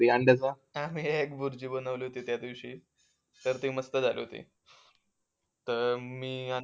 अंड्याचा आम्ही भुर्जी बनवली होती त्या दिवशी तर ती मस्त झाली होती तर मी